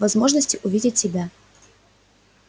возможности увидеть тебя